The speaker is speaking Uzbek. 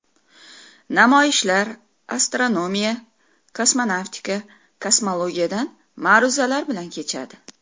Namoyishlar astronomiya, kosmonavtika, kosmologiyadan ma’ruzalar bilan kechadi.